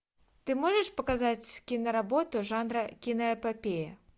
ты можешь показать киноработу жанра киноэпопея